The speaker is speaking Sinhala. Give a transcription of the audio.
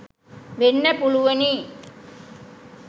වෙන්න පුළුවනි